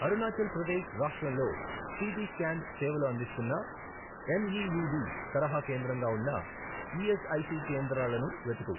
అరుణాచల్ ప్రదేశ్ రాష్ట్రంలో CT scan సేవలు అందిస్తున్న ఎంఈయుడి తరహా కేంద్రంగా ఉన్న ఈఎస్ఐసి కేంద్రాలను వెతుకు